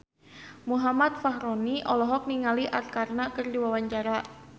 Muhammad Fachroni olohok ningali Arkarna keur diwawancara